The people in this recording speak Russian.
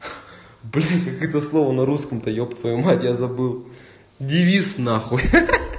блядь как это слова на русском та ебать твою мать я забыл девиз нахуй ха-ха-ха